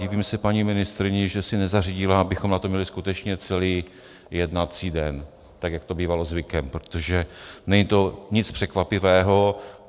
Divím se paní ministryni, že si nezařídila, abychom na to měli skutečně celý jednací den, tak jak to bývalo zvykem, protože není to nic překvapivého.